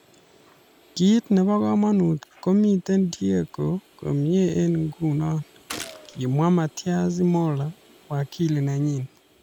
"Kiit nebo komonut komitei Diego komie eng nguno,"kimwa Matias Morla, wakili nenyii